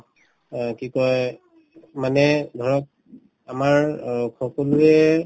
অ, কি কই মানে ধৰক আমাৰ অ সকলোৱে